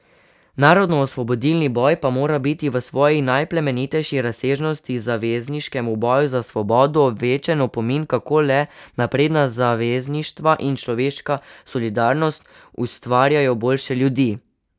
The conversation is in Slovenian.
Narodnoosvobodilni boj pa mora biti v svoji najplemenitejši razsežnosti, zavezniškem boju za svobodo, večen opomin, kako le napredna zavezništva in človeška solidarnost ustvarjajo boljše ljudi.